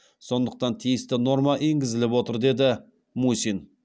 сондықтан тиісті норма енгізіліп отыр деді мусин